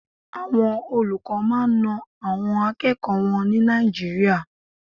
Àwọn olùkọ́ máa ń na àwọn akẹ́kọ̀ọ́ wọn ní Nàìjíríà.